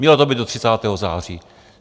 Mělo to být do 30. září.